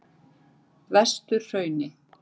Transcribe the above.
Vesturhrauni